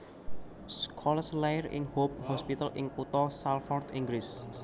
Scholes lair ing Hope Hospital ing kutha Salford Inggris